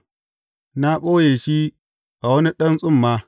Na ɓoye shi a wani ɗan tsumma.